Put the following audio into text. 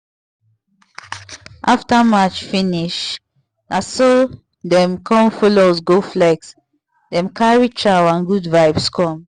after match finish na so dem come follow us go flex them carry chow and good vibes come